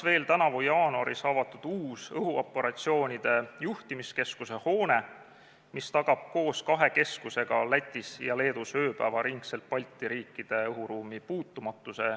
Tänavu jaanuaris avati uus õhuoperatsioonide juhtimiskeskuse hoone, mis tagab koos kahe keskusega Lätis ja Leedus ööpäevaringselt Balti riikide õhuruumi puutumatuse.